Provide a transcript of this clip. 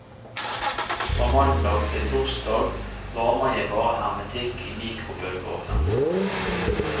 Fra mandag til torsdag varmer jeg bare hermetikk i mikrobølgeovnen.